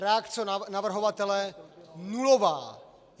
Reakce navrhovatele nulová!